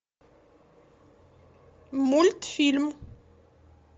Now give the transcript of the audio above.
мультфильм